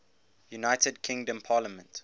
united kingdom parliament